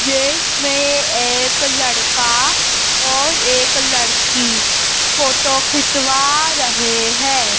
जिसमें एक लड़का और एक लड़की फोटो खिंचवा रहे हैं।